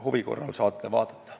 Huvi korral saate siit vaadata.